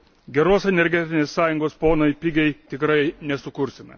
Geros Energetinės sąjungos, ponai, pigiai tikrai nesukursime.